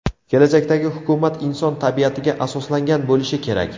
Kelajakdagi hukumat inson tabiatiga asoslangan bo‘lishi kerak.